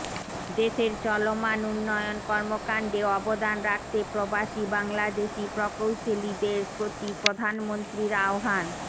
দেশের চলমান উন্নয়ন কর্মকান্ডে অবদান রাখতে প্রবাসী বাংলাদেশী প্রকৌশলীদের প্রতি প্রধানমন্ত্রীর আহ্বান